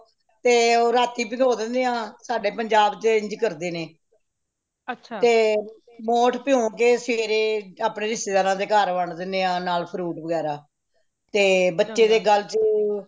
ਤੇ ਉਹ ਰਾਤੀ ਪਿਗੋਹ ਦੇਣੇ ਹਾਂ ਸਾਡੇ ਪੰਜਾਬ ਵਿਚ ਇੰਜ ਕਰਦੇ ਨੇ ਤੇ ਮੋਠ ਪਿਯੋ ਕੇ ਸਵੇਰੇ ਅਪਣੇ ਰਿਸ਼ਤੇਦਾਰਾ ਦੇ ਘਰ ਵੰਢ ਦੇਣੇ ਹਾਂ ਨਾਲ fruit ਵਗੈਰਾ ਤੇ ਬੱਚੇ ਦੇ ਗੱਲ ਚ